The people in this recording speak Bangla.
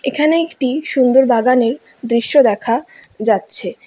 এখানে একটি সুন্দর বাগানের দৃশ্য দেখা যাচ্ছে।